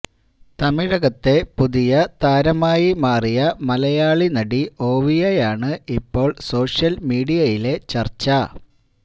തമിഴകത്തെ പുതിയ താരമായി മാറിയ മലയാളി നടി ഓവിയയാണ് ഇപ്പോള് സോഷ്യല് മീഡിയയിലെ ചര്ച്ച